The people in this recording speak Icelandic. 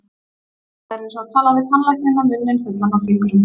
Þetta er eins og tala við tannlækninn með munninn fullan af fingrum.